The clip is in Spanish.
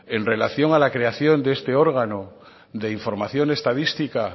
en relación a la creación de este órgano de información estadística